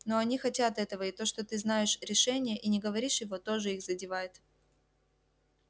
но они хотят этого и то что ты знаешь решение и не говоришь его тоже их задевает